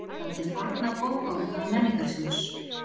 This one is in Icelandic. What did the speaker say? Grikkland hið forna Bókaútgáfa Menningarsjóðs.